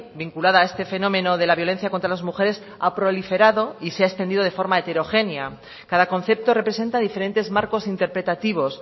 vinculada a este fenómeno de la violencia contra las mujeres ha proliferado y se ha extendido de forma heterogénea cada concepto representa diferentes marcos interpretativos